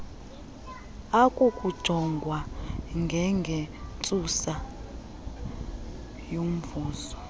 akukujongwa ngengentsusa yomvuzo